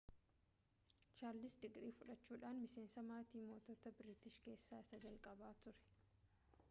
chaarlis digirii fudhachuudhan miseensa maatii moototaa biriitish keessa isa jalqabaa ture